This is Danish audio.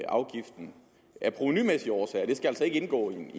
afgiften af provenumæssige årsager det skal altså ikke indgå i en